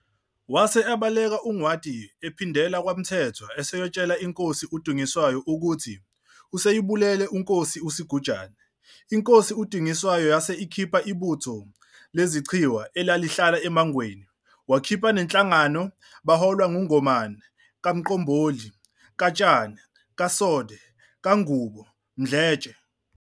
Wase ebaleka uNgwadi ephindela kwaMthethwa eseyotshela iNkosi uDingiswayo ukuthi, useyibulele iNkosi uSigujana. INkosi uDingiswayo yase ikhipha ibutho leZichwe elalihlala eMangweni, wakhipha neNhlangano beholwa nguNgomane kaMqomboli kaTshana kaSode kaNgubo Mdletshe.